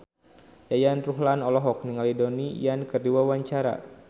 Yayan Ruhlan olohok ningali Donnie Yan keur diwawancara